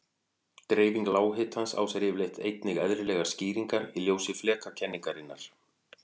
Dreifing lághitans á sér yfirleitt einnig eðlilegar skýringar í ljósi flekakenningarinnar.